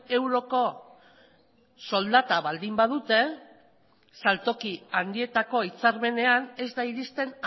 euroko soldata baldin badute saltoki handietako hitzarmenean ez da iristen